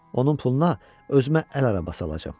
Onun puluna özümə əl arabası alacam.